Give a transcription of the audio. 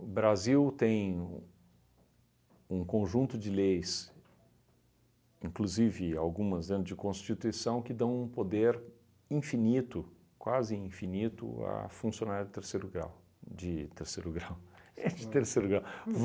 O Brasil tem um conjunto de leis, inclusive algumas dentro de constituição, que dão um poder infinito, quase infinito, à funcionário de terceiro grau. De terceiro grau. É, de terceiro grau.